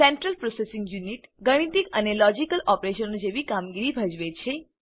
central processing unit એ ગાણિતિક અને લોજિકલ ઓપરેશનો જેવી કામગીરી ભજવે છે